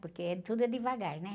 Porque eh, tudo é devagar, né?